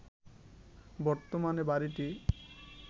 বর্তমানে বাড়িটি